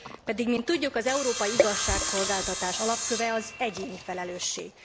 Pedig mint tudjuk az európai igazságszolgáltatás alapköve az egyéni felelősség.